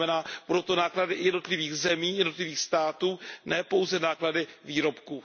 To znamená, budou to náklady i jednotlivých zemí, jednotlivých států, ne pouze náklady výrobků.